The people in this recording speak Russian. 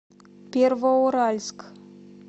первоуральск